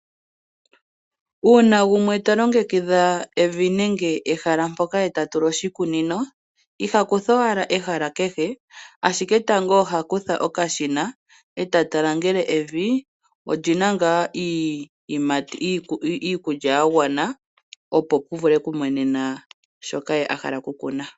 Uuna gumwe ta longekidha evi nenge ehala mpoka ye ta tula oshikunino, iha kutha owala ehala kehe ashike tango oha kutha okashina ta tala ngele evi olyi ns ngaa iikulya ya gwana opo pu vule okumenena shoka ye a hala okukuna.